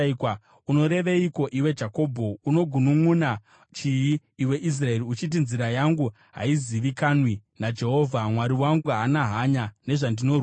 Unoreveiko, iwe Jakobho, unogununʼuna chii, iwe Israeri uchiti, “Nzira yangu haizivikanwi naJehovha; Mwari wangu haana hanya nezvandinorwira?”